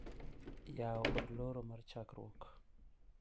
Yawo kod loro mar chokruok